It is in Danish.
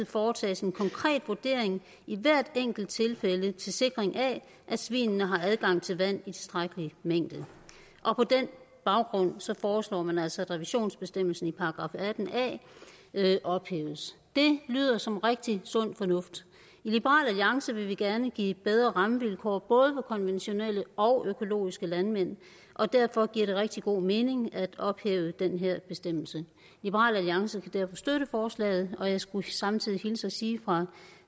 foretages en konkret vurdering i hvert enkelt tilfælde til sikring af at svinene har adgang til vand i tilstrækkelig mængde på den baggrund foreslår man altså at revisionsbestemmelsen i § atten a ophæves det lyder som rigtig sund fornuft i liberal alliance vil vi gerne give bedre rammevilkår både for konventionelle og for økologiske landmænd og derfor giver det rigtig god mening at ophæve den her bestemmelse liberal alliance kan derfor støtte forslaget og jeg skulle samtidig hilse og sige fra